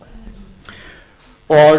sauðfjárframleiðslu og